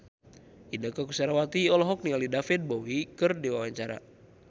Inneke Koesherawati olohok ningali David Bowie keur diwawancara